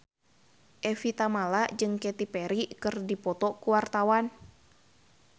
Evie Tamala jeung Katy Perry keur dipoto ku wartawan